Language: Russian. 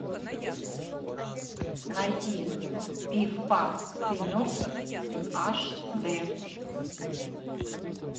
найди пиф паф ты мертв аш дэ